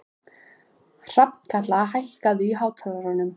Hrafnkatla, hækkaðu í hátalaranum.